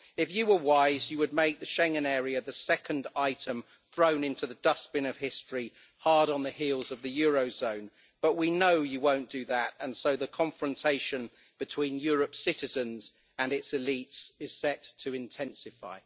If you were wise you would make the Schengen area the second item thrown into the dustbin of history hard on the heels of the eurozone but we know you won't do that, and so the confrontation between Europe's citizens and its elites is set to intensify.